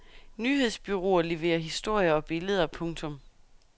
Nyhedsbureauer leverer historier og billeder. punktum